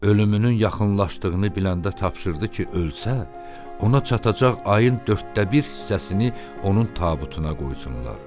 Ölümünün yaxınlaşdığını biləndə tapşırdı ki, ölsə, ona çatacaq ayın dörddə bir hissəsini onun tabutuna qoysunlar.